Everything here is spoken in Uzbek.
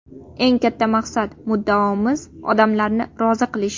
Eng katta maqsad-muddaomiz – odamlarni rozi qilish.